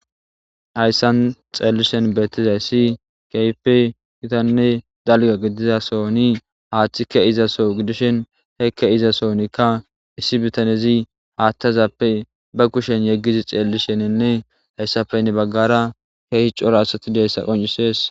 hayssan xeellishen beettizayssi keyfe gitanne dalga gidizasoni haaththika izaso gidishen hekke iza soonikka issi bitanezi haattazappe ba kushen yeggizi xeellishenenne hayssafenne baggara keehi coro asati deyssa qoncisees